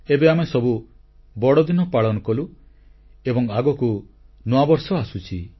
ଏବେ ଆମେସବୁ ବଡ଼ଦିନ ପାଳନ କଲୁ ଏବଂ ଆଗକୁ ନୂଆବର୍ଷ ଆସୁଛି